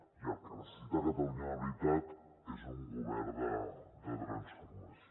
i el que necessita catalunya de veritat és un govern de transformació